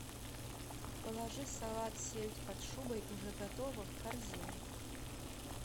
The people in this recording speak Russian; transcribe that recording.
положи салат сельдь под шубой уже готово в корзину